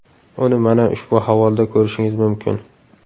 Uni mana ushbu havolada ko‘rishingiz mumkin.